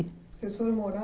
Você soube morar